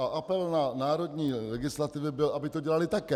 A apel na národní legislativy byl, aby to dělaly také.